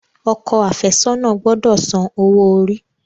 Ọkọ afesona gbódò sàn owo-ori.